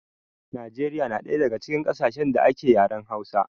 Najeriya na ɗaya daga cikin ƙasashen da ake yaren hausa